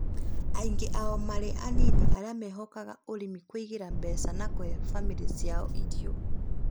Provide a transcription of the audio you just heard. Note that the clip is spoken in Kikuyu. aingĩ ao marĩ arĩmi anini arĩa mehokaga ũrĩmi kũĩgĩra mbeca na kũhe bamĩrĩ ciao irio